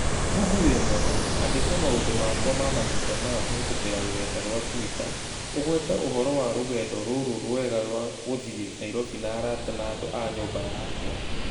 Google wĩ mwega, andĩka maundũ makwa ma mahinda maya kũhītũkīra rũrenda rũa tũita ũgweta ũhoro wa rũgendo rũrũ rũega rwa kuthiĩ Nairobi na arata na andũ a nyumba yakwa.